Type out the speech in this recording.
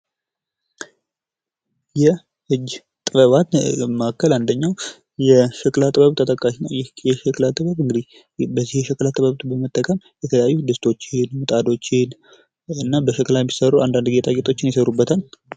የእጅ ጥበባት መካከል አንደኛው የሸክላ ጥበብ ተጠቃሽ ነው ይህ የሸክላ ጥበብ እንግዲህ የተለያዩ ድስቶችን ምጣዶችን እና በሸክላ የሚሠሩ አንዳንድ ጌጣጌጦችን ይሰሩበታል።